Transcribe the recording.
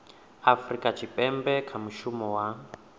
afurika tshipembe kha mushumo wa